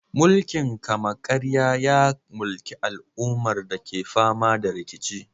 Mulkin kama-karya ya mulki al'ummar da ke fama da rikici.